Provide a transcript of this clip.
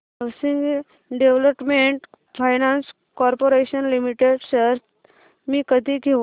housing development finance corporation limited shares मी कधी घेऊ